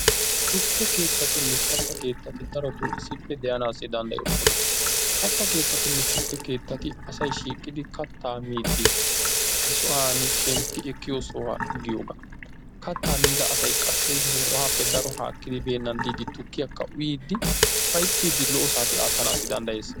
Tukke keettattinne katta keettati daroto issippe de"anaassi danddoyoosona. Katta keettatinne tukke keettati asay shiiqidi kattaa miiddi he sohaani shempi ekkiyo sohuwa giyogaa. Kattaa miida asay qassi he sohuwaappe haakidi beennan diiddi tukkiyaakka uyyiiddi ufayittiiddi daro saatiya aattana danddayees.